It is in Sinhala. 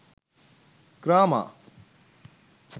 grama